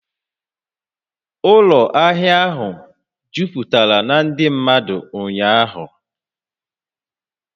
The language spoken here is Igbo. Ụlọ ahịa ahụ jupụtara na ndị mmadụ ụnyaahụ